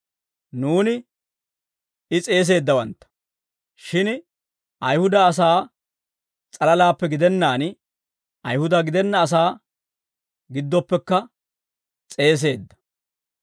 Nuuni I s'eeseeddawantta; shin Ayihuda asaa s'alalaappe gidennaan, Ayihuda gidenna asaa giddoppekka s'eeseedda.